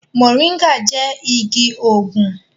Mọ̀ríngà jẹ igi òògùn